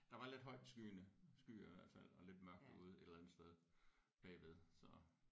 Der var lidt højt skyende skyer i hvert fald og lidt mørkt derude et eller andet sted bagved så